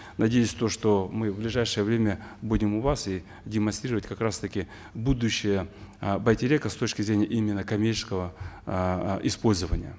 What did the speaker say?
надеюсь то что мы в ближайшее время будем у вас и демонстрировать как раз таки будущее э байтерека с точки зрения именно коммерческого э использования